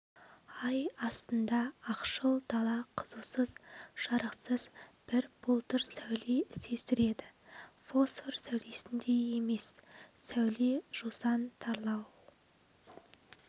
ай астында ақшыл дала қызусыз жарықсыз бір бұлдыр сәуле сездіреді фосфор сәулесіндей еміс сәуле жусан тарлау